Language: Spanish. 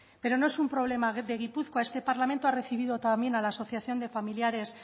pero no es un problema de gipuzkoa este parlamento ha recibido también a la asociación de familiares